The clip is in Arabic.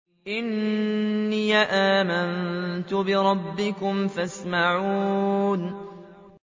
إِنِّي آمَنتُ بِرَبِّكُمْ فَاسْمَعُونِ